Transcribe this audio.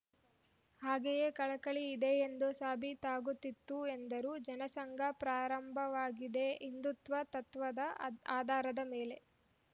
ಹಾಗೆಯೇ ಕಳಕಳಿ ಇದೆ ಎಂದು ಸಾಬೀತಾಗುತ್ತಿತ್ತು ಎಂದರು ಜನಸಂಘ ಪ್ರಾರಂಭವಾಗಿದ್ದೇ ಹಿಂದುತ್ವದ ತತ್ವದ ಅ ಆಧಾರದ ಮೇಲೆ